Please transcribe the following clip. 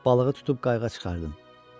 Balığı tutub qayığa çıxartdım.